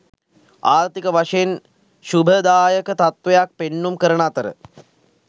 ආර්ථික වශයෙන් ශුභදායක තත්ත්වයක් පෙන්නුම් කරන අතර